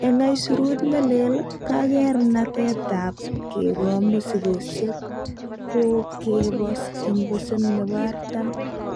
En aisurut ne leel, kakeranetab kegoo mosigisiek kokebos en pasen nebo artam.